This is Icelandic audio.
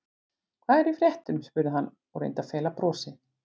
Hvað er í fréttum? spurði hann og reyndi að fela brosið.